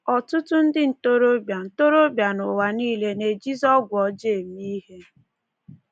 Ọtụtụ ndị ntorobịa ntorobịa n’ụwa nile na-ejizi ọgwụ ọjọọ eme ihe.